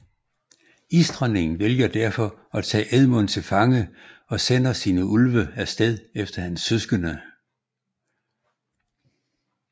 Isdronningen vælger derfor at tage Edmund til fange og sender sine ulve af sted efter hans søskende